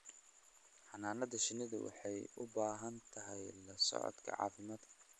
Xannaanada shinnidu waxay u baahan tahay la socodka caafimaadka.